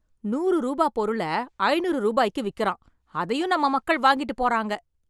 நூறு ரூபா பொருள, ஐநூறு ரூபாய்க்கு விக்கிறான், அதையும் நம்ம மக்கள் வாங்கிட்டு போறாங்க.